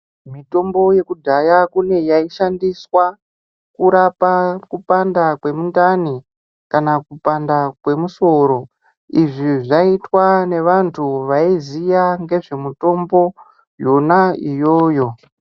Mitombo yekudhaya kune yaishandiswa kurapa kupanda kwemundani, kana kupanda kwemusoro. Izvi zvaiitwa nevantu vaiziya ngezve mutombo yona iyoyo.